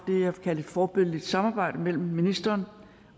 vil kalde et forbilledligt samarbejde mellem ministeren